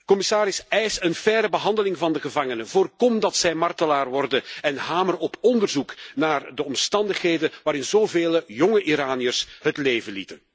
Commissaris, eis een faire behandeling van de gevangenen, voorkom dat zij martelaar worden en hamer op onderzoek naar de omstandigheden waarin zoveel jonge Iraniërs het leven lieten.